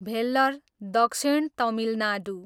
भेल्लर, दक्षिण तमिलनाडू